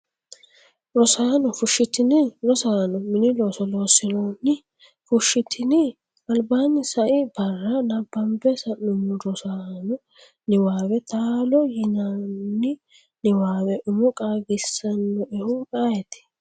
Rosaano, fushshitini? Rosaano, mini looso loossinoonni? Fushshitini? albaanni sai barra nabbambe sa’nummo Rosaano niwaawe taalo yannanni niwaawe umo qaagisannoehu ayeeti?